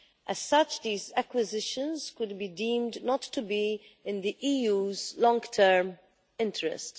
As such, these acquisitions could be deemed not to be in the EU's long term interest.